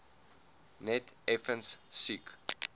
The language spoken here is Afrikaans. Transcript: net effens siek